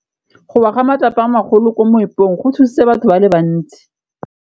Go wa ga matlapa a magolo ko moepong go tshositse batho ba le bantsi.